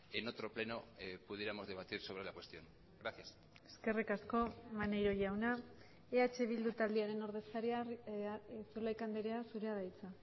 en otro pleno pudiéramos debatir sobre la cuestión gracias eskerrik asko maneiro jauna eh bildu taldearen ordezkaria zulaika andrea zurea da hitza